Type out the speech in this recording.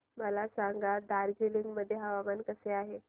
मला सांगा दार्जिलिंग मध्ये हवामान कसे आहे